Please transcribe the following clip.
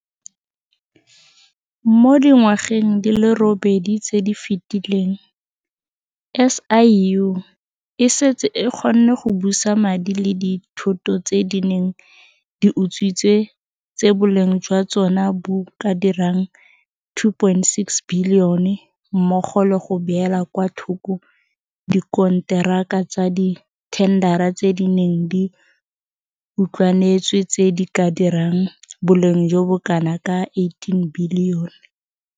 Mo dingwageng di le robedi tse di fetileng, SIU e setse e kgonne go busa madi le dithoto tse di neng di utswitswe tse boleng jwa tsona bo ka dirang R2.6 bilione mmogo le go beela kwa thoko dikonteraka tsa dithendara tse di neng di utlwanetswe tse di ka dirang boleng jo bo kanaka R18 bilione.